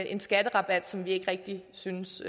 en skatterabat som vi ikke rigtig synes